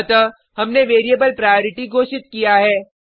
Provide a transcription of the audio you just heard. अतः हमने variable priority घोषित किया है